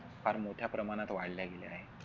फार मोठ्या प्रमाणात वाढल्या गेल्या आहेत.